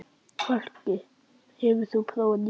Fálki, hefur þú prófað nýja leikinn?